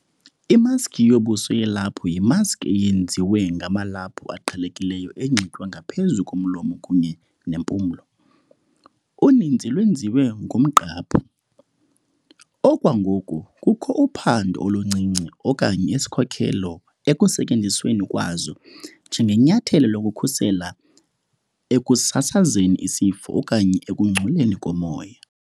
Imaski yobuso yelaphu yimaski eyenziwe ngamalaphu aqhelekileyo enxitywa ngaphezulu komlomo kunye nempumlo, uninzi lwenziwe ngomqhaphu. Okwangoku kukho uphando oluncinci okanye isikhokelo ekusetyenzisweni kwazo njengenyathelo lokukhusela ekusasazeni isifo okanye ekungcoleni komoya.